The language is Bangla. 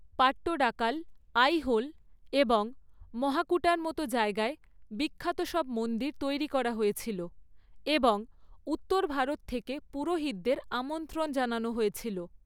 পাট্টডাকাল, আইহোল এবং মহাকুটার মতো জায়গায় বিখ্যাত সব মন্দির তৈরি করা হয়েছিল এবং উত্তর ভারত থেকে পুরোহিতদের আমন্ত্রণ জানানো হয়েছিল।